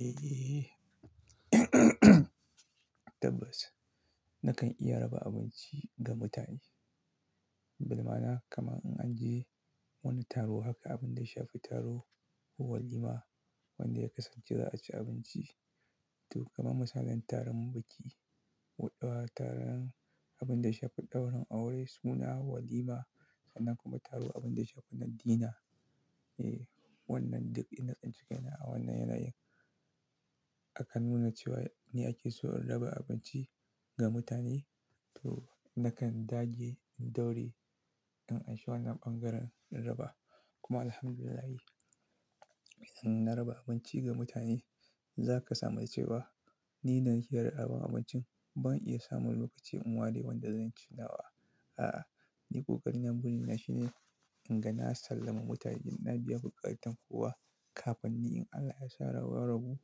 Eh, tabbas nakan iya raba abinci ga mutane. Bi-ma'ana kamar in an je wani taro haka abin da ya shafi taro ko walima wanda ya kasance za a ci abinci. To kamar misalin taron biki w-- taron abin da ya shafi ɗaurin aure suna walima sannan kuma taro abin da ya shafi addina. Eh, wannan duk ina a cikin wannan yanayin. Akan nuna cewa ne ake so raba abinci ga mutane. To nakan dage in daure in ansha wannan ɓangaren in raba. Kuma Alhamdulillahi, idan na raba abinci ga mutane za ka samu cewa ni da nake raba abincin ban iya samun lokaci in ware wanda zan ci nawa. A'a ni ƙoƙari na, burina shine in ga na sallami mutane, na biya buƙatan kowa kafin ni in Allah ya sa rabo.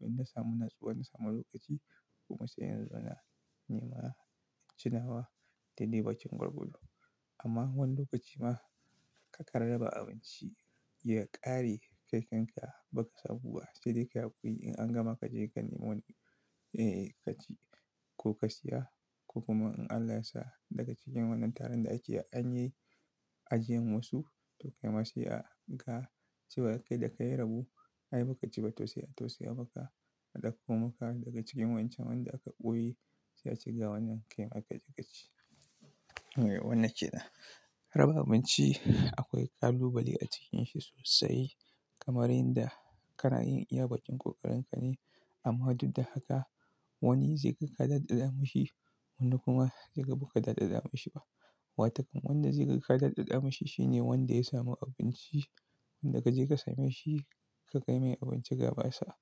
In na samu natsuwa na samu lokaci kuma sai na tsaya nima na ci nawa daidai bakin gwargwado. Amma wani lokaci ma ka kan raba abinci ya ƙare kai kanka baka samu ba. Sai dai kai haƙuri in an gama kaje ka nemo wani, eh, ka ci ko ka siya ko kuma in Allah ya sa daga cikin wannan taron da ake an yi. Ajiyan wasu to kai ma sai a ga cewa kai da kai rabo ai ba ka ci ba, to sai a tausaya maka a ɗauko maka daga cikin waƴncan wanda aka ɓoye sai a ce ga wannan kai ma ka je ka ci. Wannan ke nan. Raba abinci akwai kalubale a cikinsa sosai kamar yadda kana yin iya baƙin ƙoƙarin ka ne. Amma duk da haka. Wani zai ga ka daɗaɗa mashi wani kuma zai ga ba ka daɗaɗa mishi ba. Watakon wanda zai ga ka daɗaɗa mashi shine wanda ya samu abinci. Wanda ka je ka same shi ka kai mai abinci gaba sa.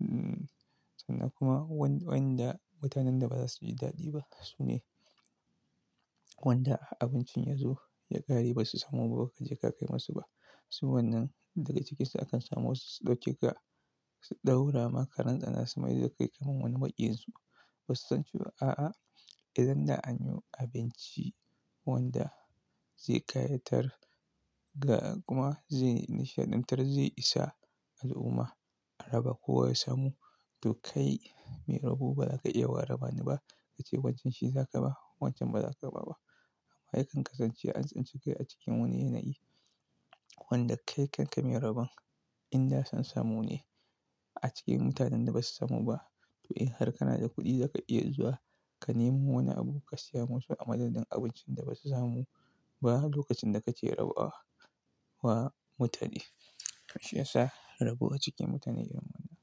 Hmm, sannan kuma waƴnda mutanen da ba za su ji daɗi ba su ne. Wanda har abincin ya zo ya ƙare basu samu ba, ba ka je ka kai masu ba. Su wannan daga cikinsu akan samu wasu su ɗauke ka su ɗaura ma karan tsana su mai da ka kai kamar wani maƙiyin su. Basu san cewa a'a, idan da an yi abinci wanda zai ƙayatar ga kuma zai nishaɗantar, zai isa al'umma a raba kowa ya samu. To kai mai rabo ba za ka iya wa raba ni ba ka ce wancan shi za ka ba, wancan ba za ka ba ba. Ai kan kasance an tsinci kai a cikin wani yanayi. Wanda kai kanka mai raban in da son samu ne a cikin mutanen da basu samu ba. To, in har kana da kuɗi za ka iya zuwa ka nemo wani abu ka siya musu a madadin abincin da basu samu ba lokacin da kake rabawa mutane. Shi ya sa rabo a cikin mutane irin wannan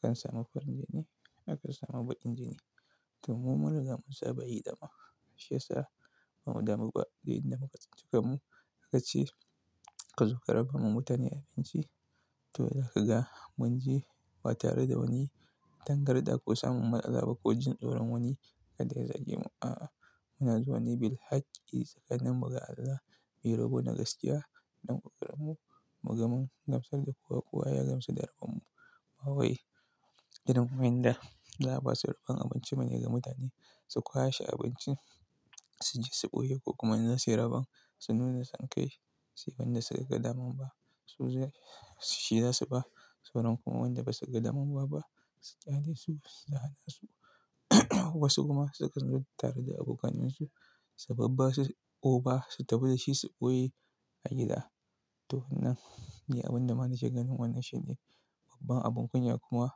akan samu farin jini, akan samu baƙin jini. To mu mun riga mun saba yi dama. Shi ya sa ba mu damu ba, duk inda muka tsinci kanmu aka ce ka zo ka raba ma mutane abinci to za ka ga mun je ba tare da wani. Tangarɗa ko samun matsala ba ko jin tsoron wani kada ya zagemu. A'a, muna zuwa ne bil haƙƙi tsakanin mu ga Allah mu yi rabo na gaskiya. Don ƙoƙarin mu ga mun gamsar da kowa, kowa ya gamsu da rabon mu. Ba wai irin waƴnda za a basu rabon abinci ba ne ga mutane su kwashe abincin su je su ɓoye ko kuma in za su yi raban su nuna san kai. Sai wanda suka ga daman ba, su za, shi za su ba. Sauran kuma wanda basu ga daman ba ba su ƙyale su, su da halin su. Wasu kuma sukan zo tare da abokanansu su babbasu over su tafi da shi su ɓoye a gida. To wannan ni abin da ma nake ganin wannan shine babban abin kunya kuma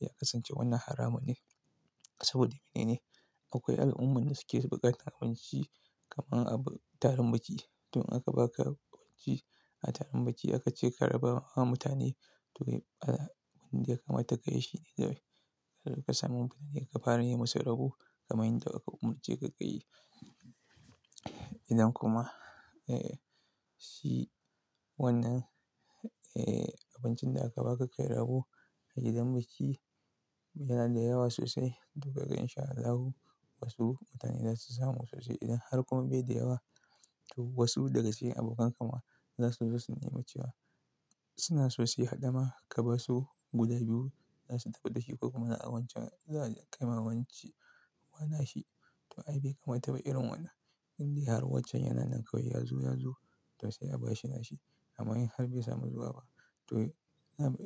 ya kasance wannan haramun ne. Saboda menene? Akwai al'ummar da suke ɓukatan abinci kamar a taron biki. To in aka ba ka abinci a taron biki aka ce ka raba ma mutane to abin da ya kamata ka yi shi ne. Idan ka samu mutane ka fara yi musu rabo kaman yanda aka umurce ka ka yi. Idan kuma, eh, shi wannan, eh, abincin da aka ba ka kai rabo a gidan biki yana da yawa sosai. To ka ga inshallahu wasu mutane za su samu sosai, idan har kuma bai da yawa to wasu daga cikin abokan ka ma za su zo su nema cewa suna so su yi haɗama ka ba su guda biyu. Za su tafi da shi ko kuma a wancan za a kai ma wance wannan shi. To ai bai kamata ba irin wannan. Indai har wancan yana nan kawai ya zo, ya zo to sai a ba shi nashi. Amma in har bai samu zuwa ba to.